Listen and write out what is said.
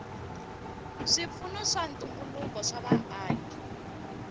swipfuno swa ntumbuluko swa vaaki